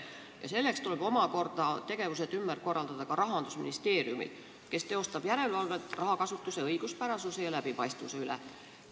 Selleks tuleb omakorda tegevus ümber korraldada Rahandusministeeriumil, kes teostab järelevalvet rahakasutuse õiguspärasuse ja läbipaistvuse üle.